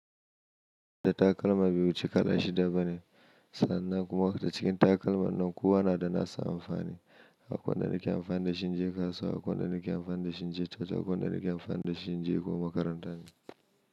Da takalma biyu cika da shida bane, sannan kuma waƙa ta cikin takalma nankuwa na da na sa amfani. Akon da nake amfani da shi in je kasuwa, akon da nake amfani da shi in je taro, akon da nake amfani da shi in je kuwa makaranta ne.